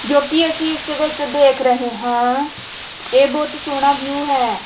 ਜੋ ਕਿ ਅਸੀਂ ਇਸ ਦੇ ਵਿੱਚ ਦੇਖ ਰਹੇ ਹਾਂ ਇਹ ਬਹੁਤ ਸੋਹਣਾ ਵਿਊ ਹੈ।